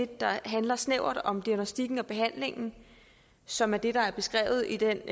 der handler snævert om diagnostikken og behandlingen som er det der beskrives i den